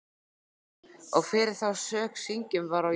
Og fyrir þá sök syngjum vér á jólum